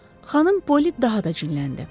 Xanım Poli daha da cinləndi.